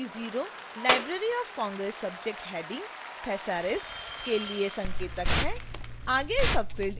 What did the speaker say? ध्यान दें कि 0 library of congress subject headings thesaurus के लिए संकेतक है